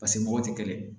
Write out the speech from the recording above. paseke mɔgɔ tɛ kelen